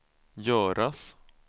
göras